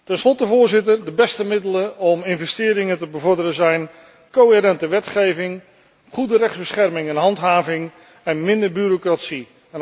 Tenslotte, Voorzitter, de beste middelen om investeringen te bevorderen zijn coherente wetgeving, goede rechtsbescherming en handhaving en minder bureaucratie.